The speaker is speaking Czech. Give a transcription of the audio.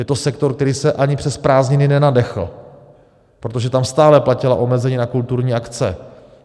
Je to sektor, který se ani přes prázdniny nenadechl, protože tam stále platila omezení na kulturní akce.